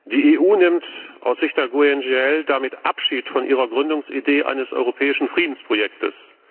Die EU nimmt aus Sicht der GUE NGL damit Abschied von ihrer Gründungsidee eines europäischen Friedensprojektes.